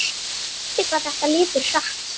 Skrítið hvað þetta líður hratt.